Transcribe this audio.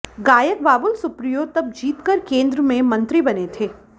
गायक बाबुल सुप्रियो तब जीतकर केंद्र में मंत्री बने थे